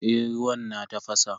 Eh ruwan na tafasa.